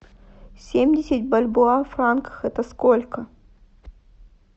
семьдесят бальбоа в франках это сколько